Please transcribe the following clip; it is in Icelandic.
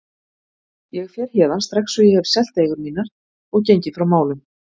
Ég fer héðan strax og ég hef selt eigur mínar og gengið frá málum.